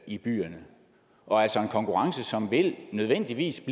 i byerne og altså en konkurrence som nødvendigvis